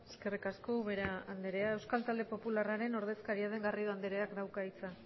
eskerrik asko ubera andrea euskal talde popularraren ordezkaria den garrido andreak dauka hitza